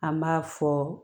An b'a fɔ